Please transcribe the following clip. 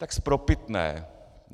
Tak spropitné.